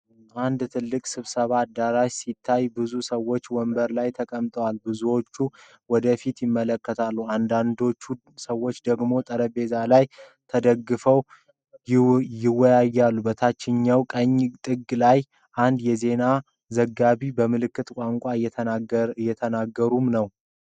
አንድ ትልቅ ስብሰባ አዳራሽ ሲታይ፣ ብዙ ሰዎች ወንበሮች ላይ ተቀምጠዋል። ብዙዎቹ ወደፊት ይመለከታሉ፣ አንዳንድ ሰዎች ደግሞ ጠረጴዛ ላይ ተደግፈው ይወያያሉ። በታችኛው ቀኝ ጥግ ላይ አንድ የዜና ዘጋቢ በምልክት ቋንቋ እየተተረጎመ ነው።